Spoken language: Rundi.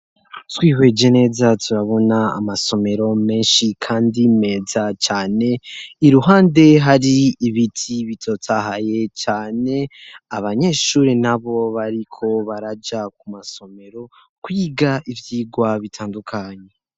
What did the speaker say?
Twihweje neza turabona amasomero menshi, kandi meza cane i ruhande hari ibiti bitotahaye cane abanyeshuri na bo bariko baraja ku masomero kwiga ivyigwa bitandukanye.